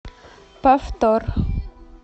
повтор